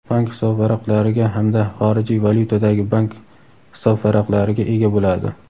bank hisobvaraqlariga hamda xorijiy valyutadagi bank hisobvaraqlariga ega bo‘ladi.